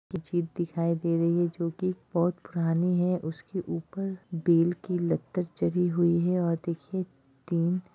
मस्जिद दिखाई दे रही है जो की बहुत पुरानी है उसके ऊपर बेल की लत्तर चढ़ी हुई है और देखिए तीन --